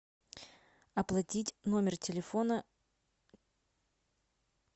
оплатить номер телефона